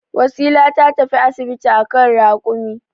Wasila ta tafi asibiti a kan rakumi.